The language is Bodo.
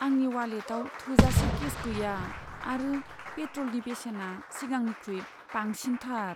आंनि वालेटाव थोजासे केश गैया आरो पेट्रलनि बेसेना सिगांनिख्रुइ बांसिनथार।